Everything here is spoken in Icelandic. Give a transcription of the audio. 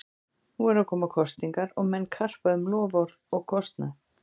Nú eru að koma kosningar og menn karpa um loforð og kostnað.